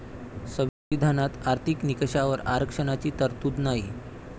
संविधानात आर्थिक निकषावर आरक्षणाची तरतूद नाही.